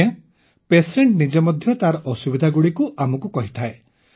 ଆଜ୍ଞା ପେସେଣ୍ଟ ନିଜେ ମଧ୍ୟ ତାର ଅସୁବିଧାଗୁଡ଼ିକୁ ଆମକୁ କହିଥାଏ